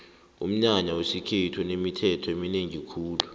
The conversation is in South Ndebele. umnyanya wesikhethu unemithetho eminengi khulu